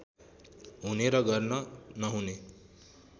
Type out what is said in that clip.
हुने र गर्न नहुने